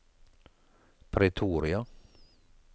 Pretoria